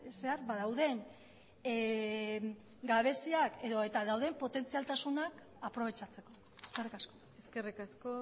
zehar ba dauden gabeziak edota dauden potentzialtasunak aprobetxatzeko eskerrik asko eskerrik asko